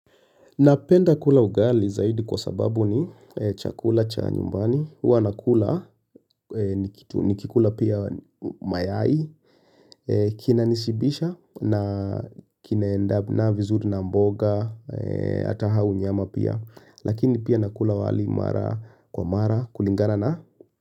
Napenda kula ugali zaidi kwa sababu ni chakula cha nyumbani huwa nakula nikikula pia mayai Kinanishibisha na kinaendana vizuri na mboga hata au nyama pia Lakini pia nakula wali mara kwa mara kulingana na.